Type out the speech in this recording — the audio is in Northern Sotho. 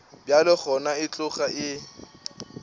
bjalo gona e tloga e